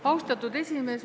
Austatud esimees!